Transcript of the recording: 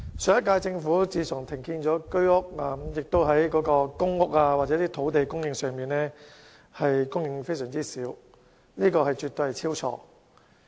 上屆政府停建居屋，而公屋和土地的供應亦非常少，這絕對是大錯特錯。